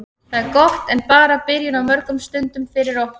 Það er gott en bara byrjun á mörgum stundum fyrir okkur.